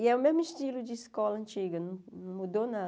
E é o mesmo estilo de escola antiga, não mudou nada.